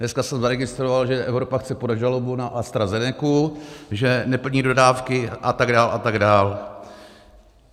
Dneska jsem zaregistroval, že Evropa chce podat žalobu na AstraZenecu, že neplní dodávky, a tak dál a tak dál.